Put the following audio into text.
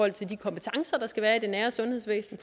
at de kompetencer der skal være i det nære sundhedsvæsen